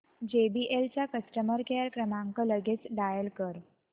JBL चा customer care क्रमांक लगेच डायल कर